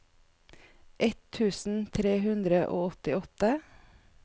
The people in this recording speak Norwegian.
ett tusen tre hundre og åttiåtte